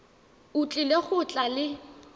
o tlile go tla le